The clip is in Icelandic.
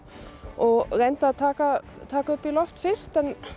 og reyndi að taka taka á loft fyrst